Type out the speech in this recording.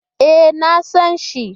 E, na san shi.